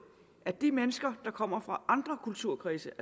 at de mennesker der kommer fra andre kulturkredse